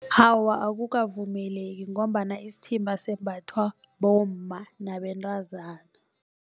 Awa, akukavumeleki ngombana isithimba sembathwa bomma nabentazana.